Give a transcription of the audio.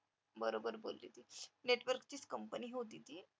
बरोबर बोलली net चीच copmpany होती ती